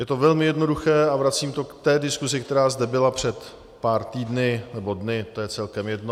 Je to velmi jednoduché, a vracím to k té diskusi, která zde byla před pár týdny, nebo dny, to je celkem jedno.